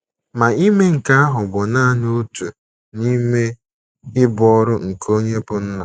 Ma ime nke ahụ bụ nanị otu n’ime ibu ọrụ nke onye bụ́ nna.